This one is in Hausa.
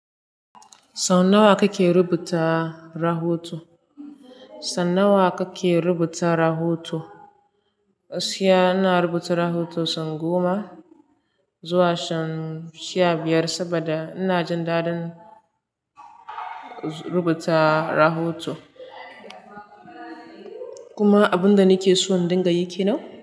Sau nawa kake rubuta rahoto? San nawa kake rubuta rahoto? Gaskiya ina rubuta rahoto son goma zuwa son sha biyar saboda ina jin dadin rubuta rahoto. Kuma abunda nake so in dinga yi kenan.